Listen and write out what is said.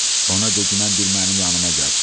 Ona deginən bir mənim yanıma gəlsin.